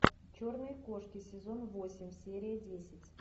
черные кошки сезон восемь серия десять